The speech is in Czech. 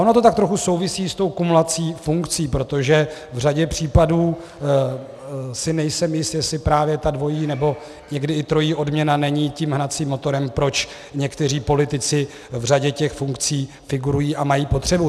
Ono to tak trochu souvisí s tou kumulací funkcí, protože v řadě případů si nejsem jist, jestli právě ta dvojí nebo někdy i trojí odměna není tím hnacím motorem, proč někteří politici v řadě těch funkcí figurují a mají potřebu.